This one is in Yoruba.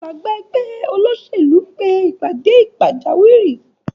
Alága ẹgbẹ́ Olóṣèlú pe ìpàdé pàjáwìrì